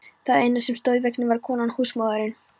Það eina sem stóð í veginum var konan, húsmóðirin.